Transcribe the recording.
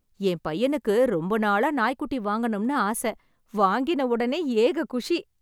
என் பையனுக்கு ரொம்ப நாளா நாய் குட்டி வாங்கணும்னு ஆசை, வாங்கின ஒடனே ஏக குஷி.